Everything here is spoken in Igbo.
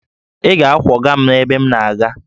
Ị ga-akwọga m ebe m na-aga!